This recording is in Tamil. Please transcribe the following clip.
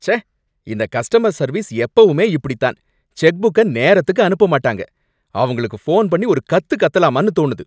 ச்சே, இந்த கஸ்டமர் ஸர்வீஸ் எப்பவுமே இப்படித்தான், செக் புக்க நேரத்துக்கு அனுப்ப மாட்டாங்க, அவங்களுக்கு ஃபோன் பண்ணி ஒரு கத்து கத்தலாமான்னு தோணுது.